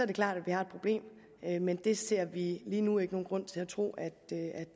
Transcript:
det klart at vi har et problem men det ser vi lige nu ikke nogen grund til at tro at